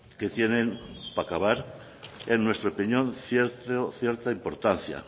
que tienen para acabar en nuestra opinión cierta importancia